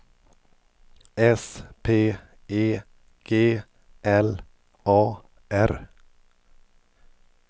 S P E G L A R